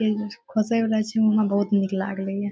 खोसें वाला छे उहां बहुत नीक लागलई हे।